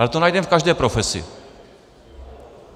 Ale to najdeme v každé profesi.